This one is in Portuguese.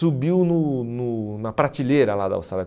Subiu no no na prateleira lá da Austrália.